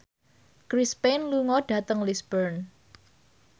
Chris Pane lunga dhateng Lisburn